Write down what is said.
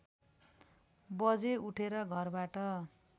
बजे उठेर घरबाट